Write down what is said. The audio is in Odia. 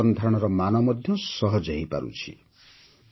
ସେମାନଙ୍କ ଜୀବନ ଧାରଣର ମାନ ମଧ୍ୟ ସହଜ ହୋଇପାରିଛି